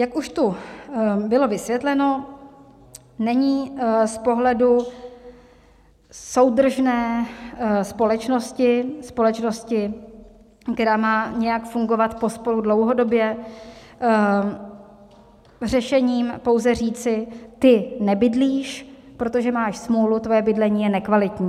Jak už tu bylo vysvětleno, není z pohledu soudržné společnosti, společnosti, která má nějak fungovat pospolu dlouhodobě, řešením pouze říci: ty nebydlíš, protože máš smůlu, tvoje bydlení je nekvalitní.